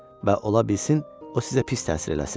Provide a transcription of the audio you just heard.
Və ola bilsin o sizə pis təsir eləsin.